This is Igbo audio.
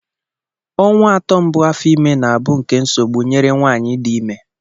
Ọnwa atọ mbụ afọ ime na-abụ nke nsogbu nyere nwaanyị di ime.